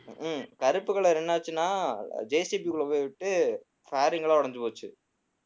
உம் கருப்பு color என்னாச்சுன்னா JCB க்குள்ள போய் விட்டு fairing எல்லாம் உடைஞ்சு போச்சு